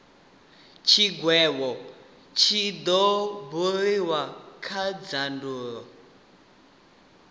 tshigwevho tshi do buliwa kha dzindaulo